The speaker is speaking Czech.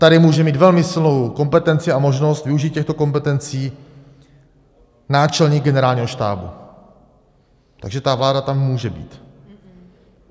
Tady může mít velmi silnou kompetenci a možnost využít těchto kompetencí náčelník generálního štábu, takže ta vláda tam může být.